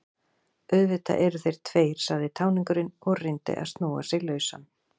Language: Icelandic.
Auðvitað eru þeir tveir, sagði táningurinn og reyndi að snúa sig lausan.